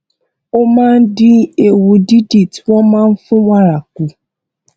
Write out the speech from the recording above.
ó máa ń dín ewu dídì tí wón máa ń fún wàrà kù